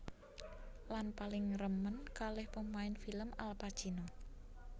Lan paling remen kalih pemain film Al Pacino